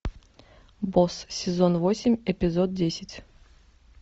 босс сезон восемь эпизод десять